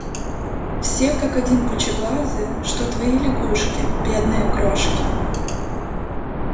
все как один пучеглазые что твои лягушки бедные крошки